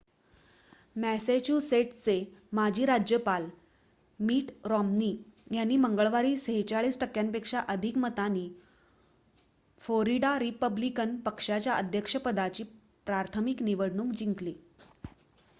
मॅसेच्युसेट्सचे माजी राज्यपाल Mitt Romney यांनी मंगळवारी ४६ टक्क्यांपेक्षा अधिक मतांनी फोरिडा रिपब्लिकन पक्षाच्या अध्यक्षपदाची प्राथमिक निवडणूक जिंकली